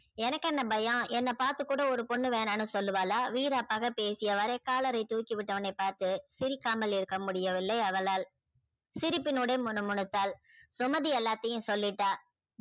எனக்கு என்ன பயம் என்ன பாத்து கூட ஒரு பொண்ணு வேணான்னு சொல்லுவாளா வீராப்பாக பேசிய வாறு collar ரை தூக்கி விட்டவனை பார்த்து சிரிக்காமல் இருக்க முடியவில்லை அவளால் சிரிப்பினுடு முனு முனுத்தால் சுமதி எல்லாத்தையும் சொல்லிட்டா